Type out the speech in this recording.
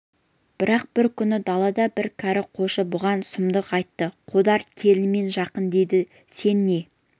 бірақ бір күні далада бір кәрі қойшы бұған сұмдық айтты қодар келінімен жақын дейді сен не